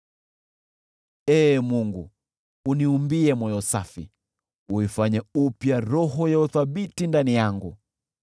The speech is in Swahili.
Ee Mungu, uniumbie moyo safi, uifanye upya roho ya uthabiti ndani yangu.